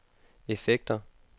effekter